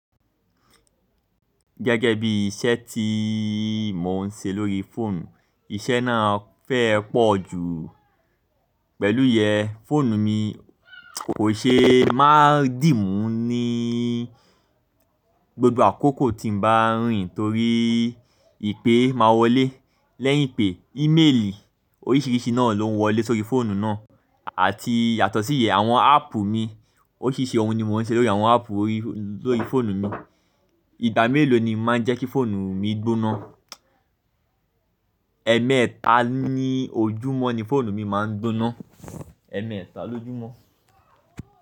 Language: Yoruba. Gẹ́gẹ́ bí iṣẹ́ tí mo ń ṣe lórí fóònù, iṣẹ́ náà fẹ́ ẹ pọ̀ jù pẹ̀lúyẹ, fóònù mi kò ṣe é máa dì mú ní, gbogbo àkókò tí mo bá rìn torí ìpè máa wọlé. Lẹ́yìn ìpè, ímeèlì oríṣìíríṣìí náà lóuń wọlé sórí fóònù náà àti yàtọ̀ síyẹ̀, àwọn áàpù mi oríṣìíríṣìí ọ̀ún ni mo ń ṣe lórí àwọn áàpù orí, lórí fóònù mi. Ìgbà mélòó ni máa ń jẹ́ kí fóònù mi gbóná? Ẹ̀ẹ́mẹta ní ojúmọ́ ni fóònù mi máa ń gbóná, ẹ̀ẹ́mẹta lójúmọ́